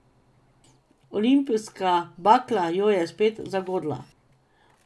Olimpijska bakla jo je spet zagodla.